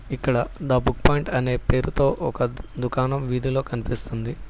ఇక్కడ the book point అనే పేరుతో ఒక దుకాణం వీధిలో కనిపిస్తుంది.